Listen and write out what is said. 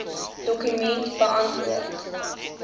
dokument beantwoord